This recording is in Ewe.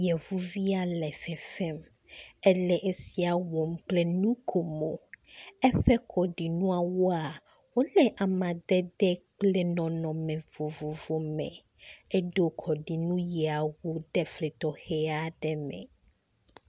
Yevuvia le fefem. Ele sia wɔm kple nu ko mo. Eƒe kɔɖinuawoa, wole amadede kple nɔnɔme vovovowo me. Eɖo kɔɖinu yeawo ɖe efli tɔxɛ aɖe me.